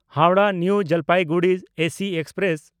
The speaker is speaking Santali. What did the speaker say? Howrah-New Jalpaiguri AC express